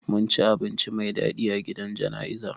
Mun ci abinci mai dadi a gidan jana'izar